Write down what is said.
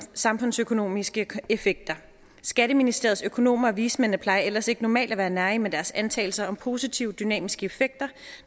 samfundsøkonomiske effekter skatteministeriets økonomer og vismændene plejer ellers ikke normalt at være nærige med deres antagelser om positive dynamiske effekter